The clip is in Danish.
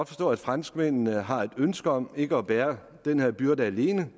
forstå at franskmændene har et ønske om ikke at bære den her byrde alene